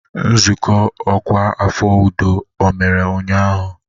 Nzukọ ọkwa afọ udo ọ mere ụnyahụ?